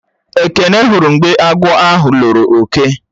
Ekene hụrụ mgbe agwọ̀ ahụ lọrò ọke